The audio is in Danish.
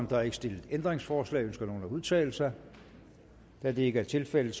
der er ikke stillet ændringsforslag ønsker nogen at udtale sig da det ikke er tilfældet